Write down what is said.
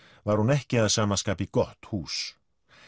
var hún ekki að sama skapi gott hús